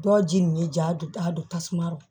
Dɔ ji nin ja don a don tasuma lo